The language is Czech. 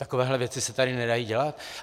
Takovéhle věci se tady nedají dělat.